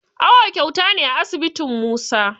Awo kyauta ne a asibitin Musa